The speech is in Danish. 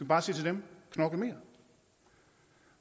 bare sige til dem knokl mere